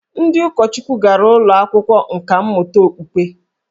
Ndị ụkọchukwu gara ụlọ akwụkwọ nkà mmụta okpukpe